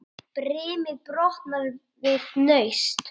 Eva, Davíð og Íris.